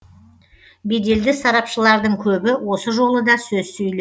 беделді сарапшылардың көбі осы жолы да сөз сөйле